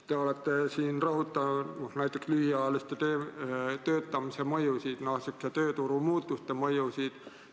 Te olete rõhutanud näiteks lühiajalise töötamise mõjusid, tööturu muutuste mõjusid.